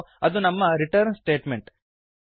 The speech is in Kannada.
ಮತ್ತು ಇದು ನಮ್ಮ ರಿಟರ್ನ್ ಸ್ಟೇಟ್ಮೆಂಟ್